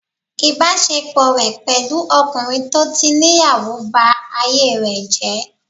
Ìbásepọ̀ rẹ̀ pẹ̀lú ọkùnrin tó tí níyàwó ba ayé rẹ̀ jẹ́